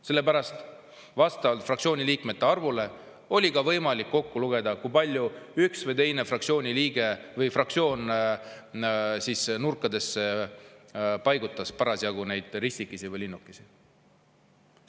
Sellepärast et vastavalt fraktsiooni liikmete arvule oli võimalik kokku lugeda, kui palju üks või teine fraktsioon nurkadesse neid ristikesi või linnukesi tegi.